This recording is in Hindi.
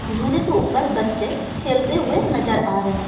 झूले के ऊपर बच्चे खेलते हुए नजर आ रहे हैं।